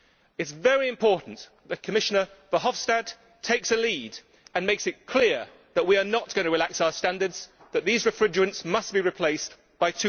It is very important that Commissioner Verheugen takes a lead and makes it clear that we are not going to relax our standards, and that these refrigerants must be replaced by